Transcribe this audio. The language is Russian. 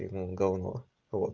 и ну говно